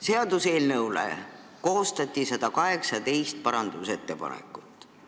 Seaduseelnõu kohta koostati 118 parandusettepanekut.